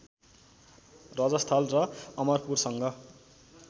रजस्थल र अमरपुरसँग